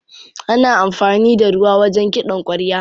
Ana amfani da ruwa wajen kiɗan ƙwarya.